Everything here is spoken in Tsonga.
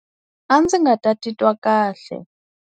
A ndzi nga ta titwa kahle.